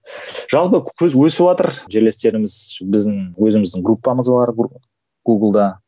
жалпы өсіватыр жерлестеріміз біздің өзіміздің группамыз бар гугл да